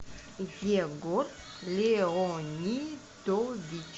егор леонидович